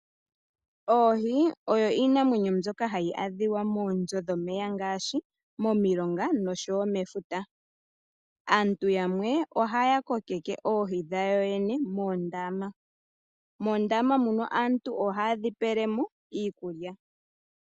Oohi oyo iinamwenyo mbyoka hayi adhika monzo dhomeya ngaashi momilonga noshowo mefuta, aantu yamwe ohaya kokeke oohi dhayo yene moondama, mondama muno aantu ohaya dhipelemo iikulya.